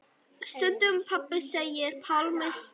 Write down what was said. Stundum pabbi segir Pálmi Snær.